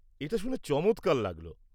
এটা শুনে চমৎকার লাগল।